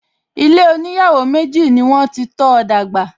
Ilé oníyàwó méjì ni wọ́n ti tọ́ọ dàgbà